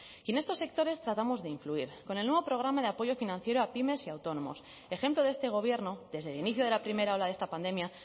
y en estos sectores tratamos de influir con el nuevo programa de apoyo financiero a pymes y a autónomos ejemplo de este gobierno desde el inicio de la primera ola de esta pandemia